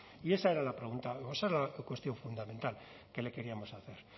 y esa era la pregunta o esa era la cuestión fundamental que le queríamos hacer